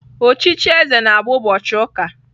Ochichi eze na-bụ ụbọchị ụka.